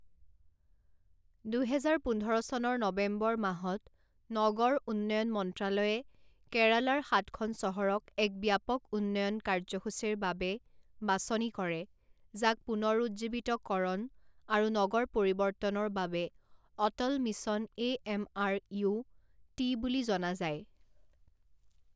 দুহেজাৰ পোন্ধৰ চনৰ নৱেম্বৰমাহত নগৰ উন্নয়ন মন্ত্ৰালয়ে কেৰালাৰ সাতখন চহৰক এক ব্যাপক উন্নয়ন কাৰ্যসূচীৰ বাবে বাছনি কৰে যাক পুনৰুজ্জীৱিতকৰণ আৰু নগৰ পৰিৱৰ্তনৰ বাবে Atal mission A M R U T বুলি জনা যায়।